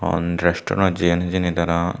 hon resturant ot jeyun hijeni tara.